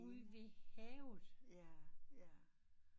Ude ved havet